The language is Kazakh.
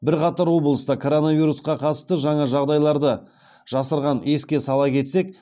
бірқатар облыста коронавирусқа қатысты жаңа жағдайларды жасырған еске сала кетсек